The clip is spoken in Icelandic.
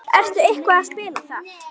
Ertu eitthvað að spila þar?